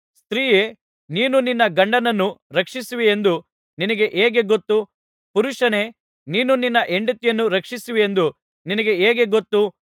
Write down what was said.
ಸ್ತ್ರೀಯೇ ನೀನು ನಿನ್ನ ಗಂಡನನ್ನು ರಕ್ಷಿಸುವಿಯೆಂದು ನಿನಗೆ ಹೇಗೆ ಗೊತ್ತು ಪುರುಷನೇ ನೀನು ನಿನ್ನ ಹೆಂಡತಿಯನ್ನು ರಕ್ಷಿಸುವಿಯೆಂದು ನಿನಗೆ ಹೇಗೆ ಗೊತ್ತು